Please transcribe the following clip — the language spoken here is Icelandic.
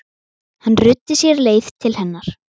Hann ruddi sér leið til hennar.